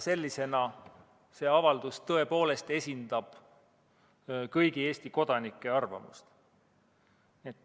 Sellisena esindab see avaldus tõepoolest kõigi Eesti kodanike arvamust.